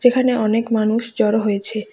এখানে অনেক মানুষ জড়ো হয়েছে।